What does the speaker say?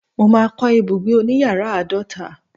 mo ma ko ibugbe oniyaara aadota